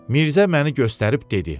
Mirzə məni göstərib dedi: